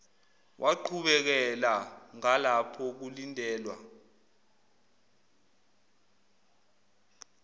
waqhubekela ngalapho kulindelwa